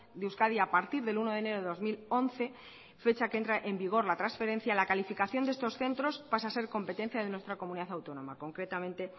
de euskadi a partir del uno de enero de dos mil once fecha en que entra en vigor la transferencia la calificación de estos centros pasa a ser competencia de nuestra comunidad autónoma concretamente